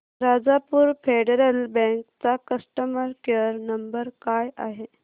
Rajapur federal bank चा customer care number काय आहे